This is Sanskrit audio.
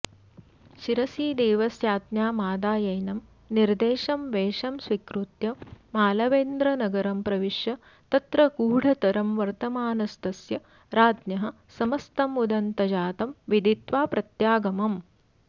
शिरसि देवस्याज्ञामादायैनं निर्देषं वेषं स्वीकृत्य मालवेन्द्रनगरं प्रविश्य तत्र गूढतरं वर्तमानस्तस्य राज्ञः समस्तमुदन्तजातं विदित्वा प्रत्यागमम्